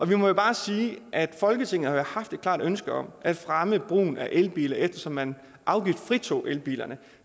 vi må jo bare sige at folketinget har haft et klart ønske om at fremme brugen af elbiler eftersom man afgiftsfritog elbilerne